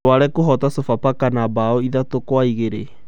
Rware kũhoota Sofapaka na mbaũ ithatũ kwa igĩrĩ